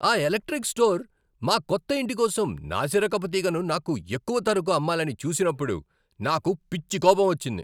ఆ electric store మా కొత్త ఇంటి కోసం నాసిరకపు తీగను నాకు ఎక్కువ ధరకు అమ్మాలని చూసినప్పుడు నాకు పిచ్చి కోపం వచ్చింది.